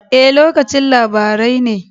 E, lokacin labarai ne.